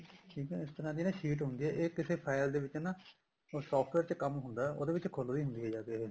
ਠੀਕ ਆ ਨਾ ਇਸ ਤਰ੍ਹਾਂ ਦੀ sheet ਹੁੰਦੀ ਆ ਇਹ ਕਿਸੇ file ਦੇ ਵਿੱਚ ਨਾ ਉਹ software ਚ ਕੰਮ ਹੁੰਦਾ ਉਹਦੇ ਵਿੱਚ ਖੁੱਲਦੀ ਹੁੰਦੀ ਏ ਜਾ ਕੇ ਇਹ